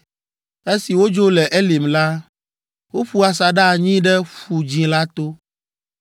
Esi wodzo le Elim la, woƒu asaɖa anyi ɖe Ƒu Dzĩ la to,